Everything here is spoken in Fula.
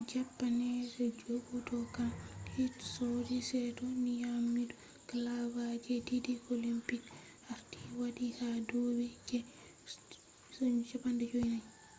japanese judokan hitoshi saito nyamido galaba je didi olympic gold medals arti wati ha dubi je 54